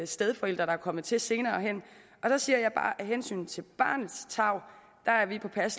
stedforælder der er kommet til senere jeg siger bare at vi af hensyn til barnets tarv